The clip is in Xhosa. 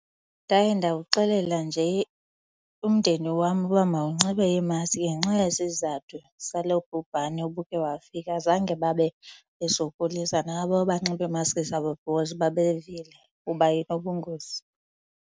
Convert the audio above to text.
Ndaye ndawuxelela nje umndeni wam uba mawunxibe iimaski ngenxa yesizathu salo bhubhane ubukhe wafika. Zange babe besokolisa nabo banxiba imaski zabo because babevile uba inobungozi.